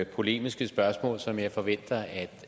polemiske spørgsmål som jeg forventer at